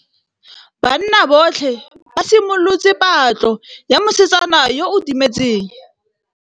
Banna botlhê ba simolotse patlô ya mosetsana yo o timetseng.